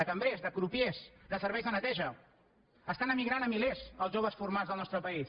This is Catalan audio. de cambrers de crupiers de serveis de neteja estan emigrant a milers els joves formats al nostre país